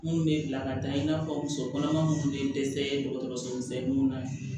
Mun bɛ bila ka taa i n'a fɔ muso kɔnɔma minnu tun ye dɛsɛ dɔgɔtɔrɔsomisɛnnu na